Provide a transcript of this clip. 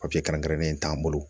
Papiye kɛrɛnkɛrɛnnen t'an bolo